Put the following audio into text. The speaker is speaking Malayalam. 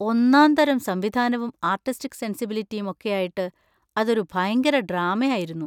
ഒന്നാംതരം സംവിധാനവും ആർട്ടിസ്റ്റിക് സെൻസിബിലിറ്റിയും ഒക്കെയായിട്ട് അതൊരു ഭയങ്കര ഡ്രാമ ആയിരുന്നു.